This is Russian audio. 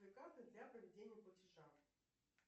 карты для проведения платежа